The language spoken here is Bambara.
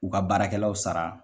U ka baarakɛlaw sara